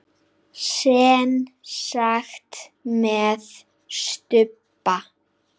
Semsagt með stubba.